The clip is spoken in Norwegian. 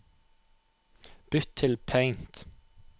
Bytt til Paint